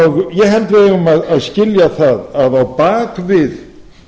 ég held að við eigum að skilja að á bak við